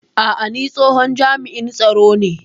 A'a, ni tsohon jami'in tsaro ne